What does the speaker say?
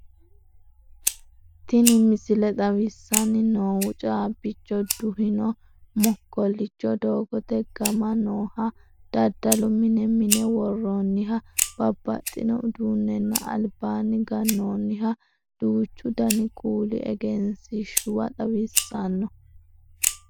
Tini misile xawissanni noohu caabbicho duhino mokkollicho, doogote gama nooha daddalu mine, mine worroonniha babbaxxino uduunnenna albaanni gannoonniha duuchu dani kuuli egensiishshuwa xawissanno.